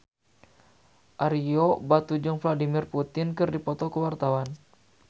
Ario Batu jeung Vladimir Putin keur dipoto ku wartawan